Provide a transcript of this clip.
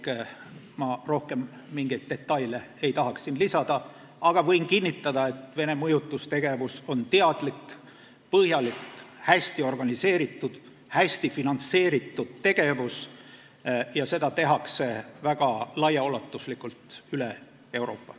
Ma ei tahaks siin rohkem mingeid detaile lisada, aga võin kinnitada, et Venemaa mõjutustegevus on teadlik, põhjalik, hästi organiseeritud, hästi finantseeritud ja sellega tegeldakse väga laiaulatuslikult üle Euroopa.